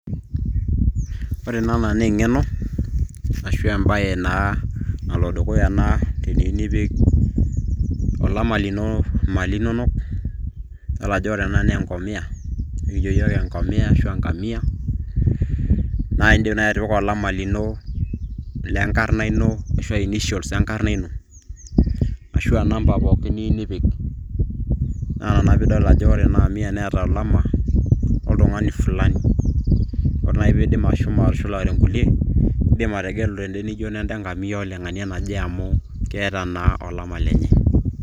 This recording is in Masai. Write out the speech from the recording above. Ore enaa naa eng'eno ashua embaye naa nalodukaya ena teniyieu nipik olama lino imali inonok idol ajo ore ena naa enkomiya nikijo iyiok enkomiya ashuu enkamiya naa indiim naaaji atipika olama lino lenkarna ino ashua initials enkarna ino ashua inamba pookin niyieu nipik naa ina naa piidol ajo ore ena kamiya neeta olama oltung'ani fulani ore naaji peidim ashomo atushulare inkulie indim ategelu tende nijio nenda enkamia oleng'ania naje amu keeta naa olama lenye.